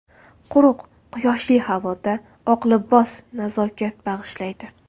Quruq, quyoshli havoda oq libos nazokat bag‘ishlaydi.